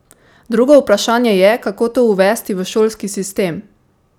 Drugo vprašanje je, kako to uvesti v šolski sistem?